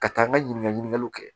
Ka taa n ka ɲininkaliw kɛ